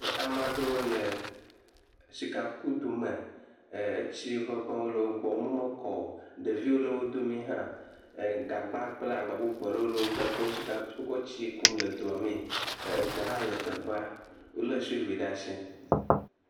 Ame aɖewo le sikakudo me, etsi ŋeŋewo le wo gbɔ, wo me mekɔ o, ɖeviwo le wo dome hã, gagba kple agba bubu aɖewo le wo gbɔ yike wotsɔ le tsia kum le doa mee, egbe hã le teƒea, wolé tsovil ɖe asi.